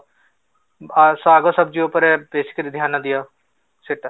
ଆ ଶାଗ ଉପରେ ବେଶୀ କରି ଧ୍ୟାନ ଦିଅ